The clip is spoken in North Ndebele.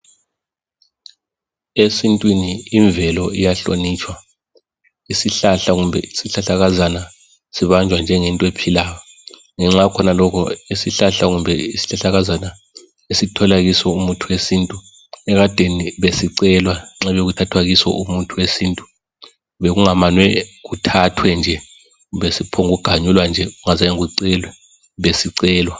Esintwini imvelo iyahlonitshwa, isihlahla kumbe isihlahlakazana sibanjwa njengento ephilayo, ngenxa yakhonalokho, isihlahla kumbe isihlahlakazana esithola kiso umuthi wesintu, ekadeni besicelwa nxa bekuthathwa kiso umuthi wesintu. Bekungamanwe kuthathwe nje, kumbe siphonguganjulwa nje kungazange kucelwe, besicelwa.